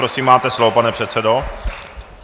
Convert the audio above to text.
Prosím, máte slovo, pane předsedo.